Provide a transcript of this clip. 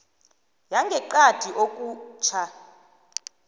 yangeqadi okutjho